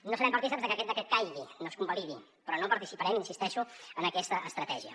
no serem partícips de que aquest decret caigui no es convalidi però no participarem hi insisteixo en aquesta estratègia